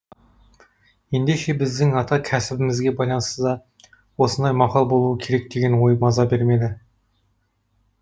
ендеше біздің ата кәсібімізге байланысты да осындай мақал болуы керек деген ой маза бермеді